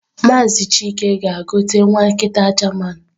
Maazị chilke gaa gote nwa Nkita german.